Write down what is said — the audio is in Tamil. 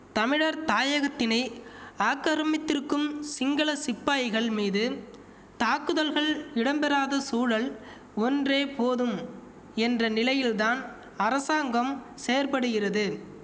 தமிழர் தாயகத்தினை ஆக்கரமித்திருக்கும் சிங்கள சிப்பாய்கள் மீதும் தாக்குதல்கள் இடம் பெறாத சூழல் ஒன்றே போதும் என்ற நிலையில்தான் அரசாங்கம் செயற்படுகிறது